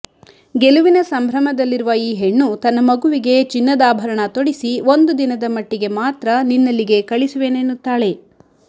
ಗೆಲುವಿನ ಸಂಭ್ರಮದಲ್ಲಿರುವ ಈ ಹೆಣ್ಣು ತನ್ನ ಮಗುವಿಗೆ ಚಿನ್ನದಾಭರಣ ತೊಡಿಸಿ ಒಂದು ದಿನದ ಮಟ್ಟಿಗೆ ಮಾತ್ರ ನಿನ್ನಲ್ಲಿಗೆ ಕಳಿಸುವೆನೆನ್ನುತ್ತಾಳೆ